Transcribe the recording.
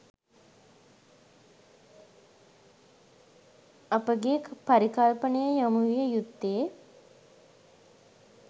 අපගේ පරිකල්පනය යොමු විය යුත්තේ